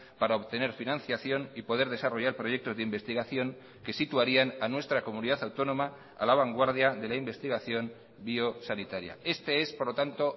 para obtener financiación y poder desarrollar proyectos de investigación que situarían a nuestra comunidad autónoma a la vanguardia de la investigación biosanitaria este es por lo tanto